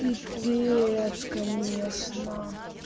пипец конечно